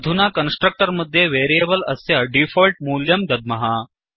अधुना कन्स्ट्रक्टर् मध्ये वेरियेबल् अस्य डीफोल्ट् मूल्यं दद्मः